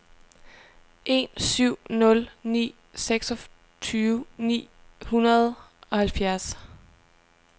en syv nul ni seksogtyve ni hundrede og halvfjerds